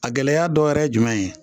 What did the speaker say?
A gɛlɛya dɔ wɛrɛ ye jumɛn ye